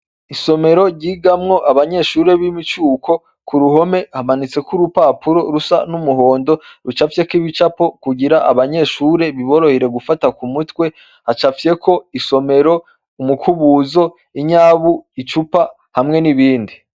Isomero ryigamwo abanyeshuri b'imicuko, ku ruhome hamanitseko urupapuro rusa n'umuhondo rucafyeko ibicapo kugira abanyeshuri biborohere gufata ku mutwe, hacafyeko isomero, umukubuzo, inyabu, icupa hamwe n'ibindi.